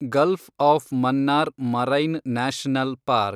Gulf of Mannar marine national park